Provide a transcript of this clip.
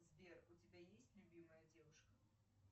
сбер у тебя есть любимая девушка